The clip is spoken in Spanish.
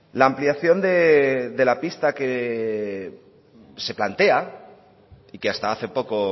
la ampliación de la pista que se plantea y que hasta hace poco